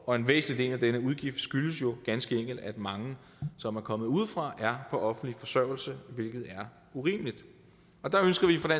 og en væsentlig del af denne udgift skyldes jo ganske enkelt at mange som er kommet udefra er på offentlig forsørgelse hvilket er urimeligt der ønsker vi fra